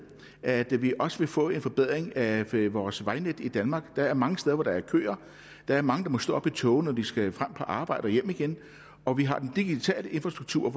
at vi også vil få en forbedring af vores vejnet i danmark der er mange steder hvor der er køer der er mange der må stå op i togene når de skal på arbejde og hjem igen og vi har den digitale infrastruktur